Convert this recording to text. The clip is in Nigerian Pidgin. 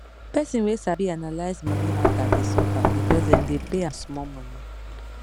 person wey sabi analyze money matter dey suffer because dem dey pay ahm small money